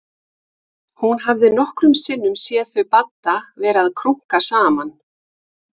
Hún hafði nokkrum sinnum séð þau Badda vera að krunka saman.